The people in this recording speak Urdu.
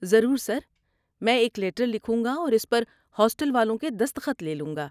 ضرور سر، میں ایک لیٹر لکھوں گا اور اس پر ہاسٹل والوں کے دستخط لے لوں گا۔